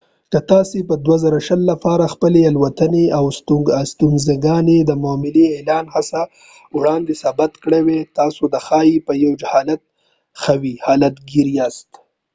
که تاسو د 2020 لپاره خپلې الوتنې او استوګنځای د معطلۍ د اعلان څخه وړاندې ثبت کړي وو تاسو ښايي په یوه حالت ښوی حالت ګېر یاست